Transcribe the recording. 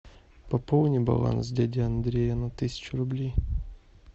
пополни баланс дяди андрея на тысячу рублей